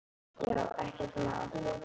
Já, ekkert mál!